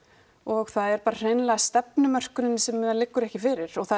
og það er bara hreinlega stefnumörkunin sem að liggur ekki fyrir og það